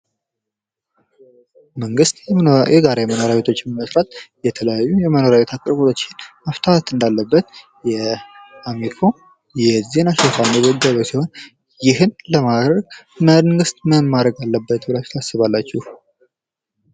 መንግስት የጋራ መኖሪያ ቤቶችን በመስራት የተለያዩ የመኖርያ ቤት ችግርን መፍታት እንዳለበት የአሚኮ ዜና የዘገበ ሲሆን ይህን ለማድረግ መንግስት ምን ማድረግ አለበት ትላላችሁ?